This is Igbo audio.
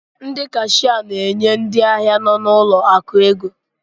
ndị Kashịa na-enye ndị ahịa nọ n'ụlọ akụ ego